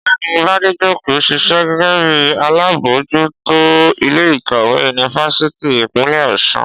Ọ̀gbẹ́ni Bádéjókòó ń ṣiṣẹ́ gẹ́gẹ́ bí alábòójútó ilé ìkàwé yunifásítì Ìpínlẹ̀ Ọ̀ṣun